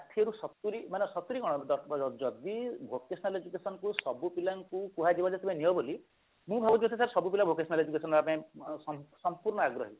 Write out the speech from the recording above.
ରୁ ଶତୁରି ମାନେ ଶତୁରି କଣ ଯଦି vocational education କୁ ସବୁ ପିଲାଙ୍କୁ କୁହାଯିବ ଯେ ପିଲା ନିଅ ବୋଲି ମୁଁ ଭାବୁଛି ସେଟ ସବୁପିଲା vocational education ନବା ପାଇଁ ସମ୍ପୂର୍ଣ ଆଗ୍ରହୀ